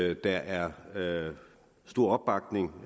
at der er stor opbakning